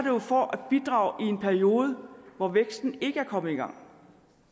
jo for at bidrage i en periode hvor væksten ikke er kommet i gang og